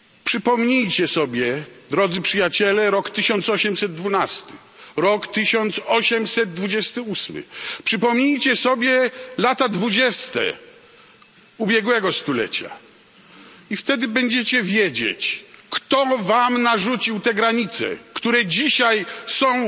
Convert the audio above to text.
Przypomnijcie sobie Drodzy Przyjaciele rok 1812, rok 1828, przypomnijcie sobie lata dwudzieste ubiegłego stulecia, i wtedy będziecie wiedzieć, kto Wam narzucił te granice, które dzisiaj są